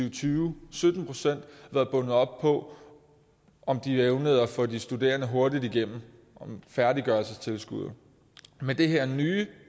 og tyve været bundet op på om de evnede at få de studerende hurtigere igennem med færdiggørelsestilskuddet med det her nye